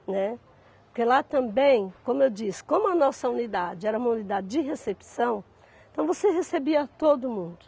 Né. Porque lá também, como eu disse, como a nossa unidade era uma unidade de recepção, então você recebia todo mundo.